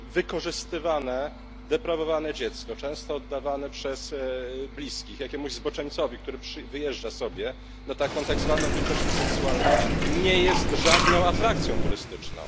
Przecież wykorzystywane, deprawowane dziecko, często oddawane przez bliskich jakiemuś zboczeńcowi, który wyjeżdża sobie na tak zwaną wycieczkę seksualną, nie jest żadną atrakcją turystyczną.